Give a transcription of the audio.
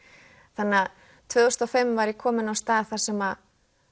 þannig að tvö þúsund og fimm var ég komin á stað þar sem